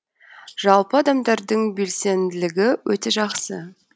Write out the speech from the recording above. жалпы адамдардың белсенділігі өте жақсы